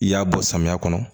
I y'a bɔ samiya kɔnɔ